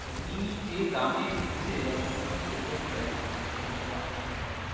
তুমি যে দামে দিচ্ছে আমার মনে হয় সেইটাই price মানে main important factor.